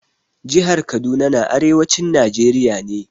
Jihar Kaduna na arewacin Najeriya ne.